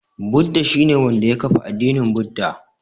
Buda shi ne wanda ya kafa addinin Buda.